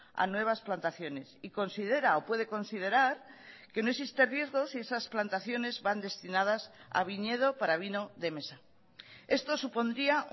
a nuevas plantaciones y considera o puede considerar que no existe riesgo si esas plantacionesvan destinadas a viñedo para vino de mesa esto supondría